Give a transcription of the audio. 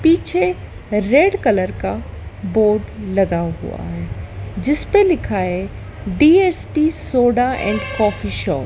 पीछे red colour का board लगा हुआ है जिसपे लिखा है DSP soda and coffee shop.